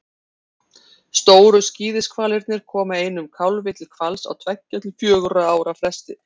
stóru skíðishvalirnir koma einum kálfi til hvals á tveggja til fjögurra ára fresti